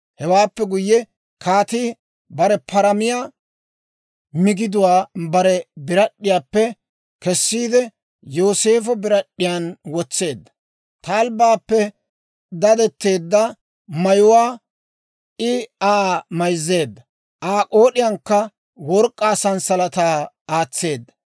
Hewaappe guyye, kaatii bare paramiyaa migiduwaa bare birad'd'iyaappe kessiide, Yooseefo birad'd'iyaan wotseedda. Talbbaappe dadetteedda mayuwaa I Aa mayzziide, Aa k'ood'iyaankka work'k'aa sanssalataa aatseedda.